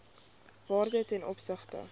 waarde ten opsigte